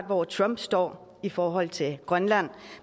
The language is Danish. hvor trump står i forhold til grønland